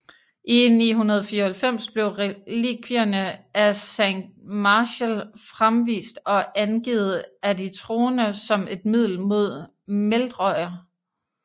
I 994 blev relikvierne af Saint Martial fremvist og angivet af de troende som et middel mod Meldrøjer